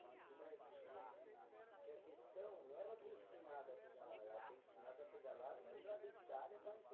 Certinho, porque a questão não era ter ensinado a pedalar, era ter ensinado a pedalar e entrar dentro da área para